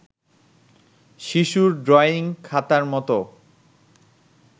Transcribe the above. শিশুর ড্রয়িং খাতার মতো